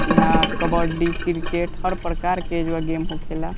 इहां कबड्डी क्रिकेट हर प्रकार के जो गेम होखेला।